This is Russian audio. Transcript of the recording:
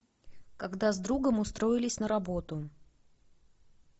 когда с другом устроились на работу